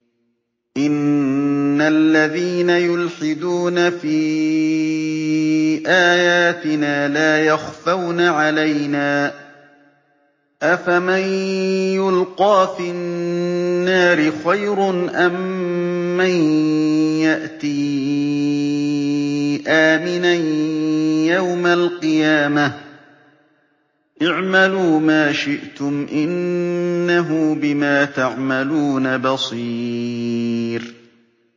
إِنَّ الَّذِينَ يُلْحِدُونَ فِي آيَاتِنَا لَا يَخْفَوْنَ عَلَيْنَا ۗ أَفَمَن يُلْقَىٰ فِي النَّارِ خَيْرٌ أَم مَّن يَأْتِي آمِنًا يَوْمَ الْقِيَامَةِ ۚ اعْمَلُوا مَا شِئْتُمْ ۖ إِنَّهُ بِمَا تَعْمَلُونَ بَصِيرٌ